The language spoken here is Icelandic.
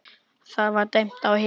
Það var dæmt á hina!